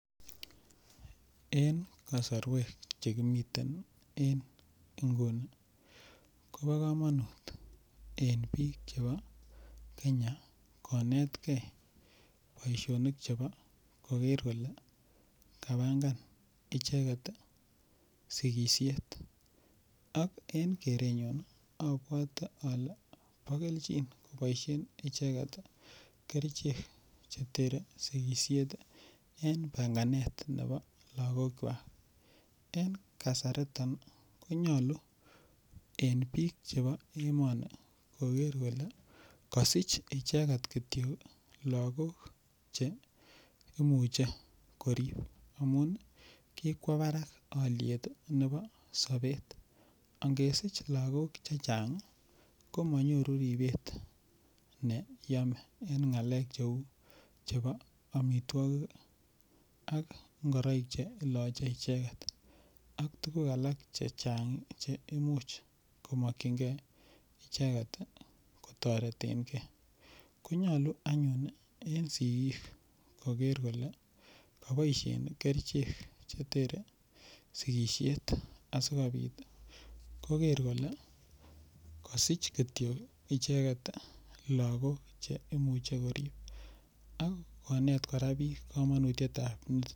En kosorwek chekimitei en nguni kobo kamanut en biik chebo Kenya konetgei boishonik chebo koker kole kapangan icheget sikishet ak en kerenyun abwote ale bo keljin koboishen icheget kerichek chetere sikishet en panganet nebo lakokwach en kasariton konyolu en biik chebo emoni koker kole kasich icheget kityo lakok che imuche korip amu kikwo barak oliet nebo sobet angesich lakok chechang' komanyoru ribet ne yome eng' ng'alek cheu chebo omitwokik ak ngoroik che iloche echeget ak tukuk alak chechang' che imuche komokchingei icheget kotoreten gei konyolu anyun en sikik koker kole koboishen kerichek cheteren sikishet asikobit koker kole kasich kityo icheget lakok che imuche korip ak konet kora biik kamanutyet